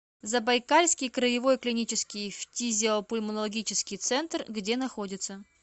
забайкальский краевой клинический фтизиопульмонологический центр где находится